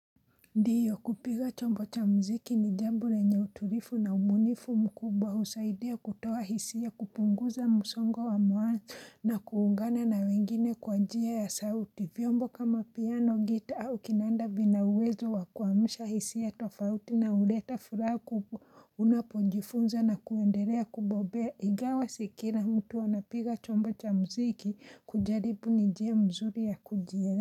Ndiyo kupiga chombo cha mziki ni jambo lenye utulivu na ubunifu mkubwa husaidia kutoa hisia kupunguza musongo wa mawazo na kuungana na wengine kwa njia ya sauti vyombo kama piano gita au kinanda vina uwezo wa kuamusha hisia tofauti na huleta furaha kubwa unapojifunza na kuendelea kubobea igawa sikila mtu anapiga chombo cha mziki kujaribu ni njia mzuri ya kujie.